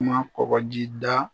Kuma kɔkɔ ji da